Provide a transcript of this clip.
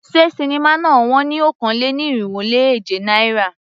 Ṣé sinimá náà wón ní okòó-lé-ní-irínwó-lé-èje náírà?